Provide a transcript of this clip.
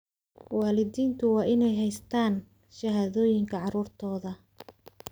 Waalidiintu waa inay haystaan ??shahaadooyinka carruurtooda.